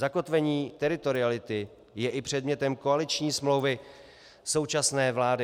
Zakotvením teritoriality je i předmětem koaliční smlouvy současné vlády.